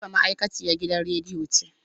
Habiba ma'aikaciyan gidan radiyo ce.